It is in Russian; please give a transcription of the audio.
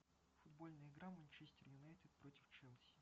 футбольная игра манчестер юнайтед против челси